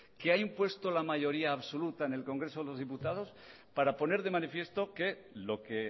que ha impuesto la mayoría absoluta en el congreso de los diputados para poner de manifiesto que lo que